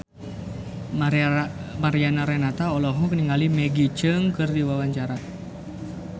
Mariana Renata olohok ningali Maggie Cheung keur diwawancara